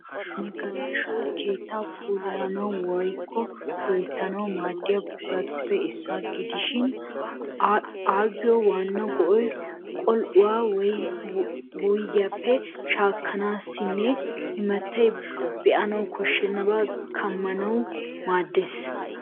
Magalashoy keettaa puulayanawu woyikko loyittanawu maaddiya buquratuppe issuwa gidishin ayyoo waanna go'ay qol'uwaa wuyigiyaappe shaakkanaassa. Imatti be'anawu koshennabaa kammanawukka maaddes.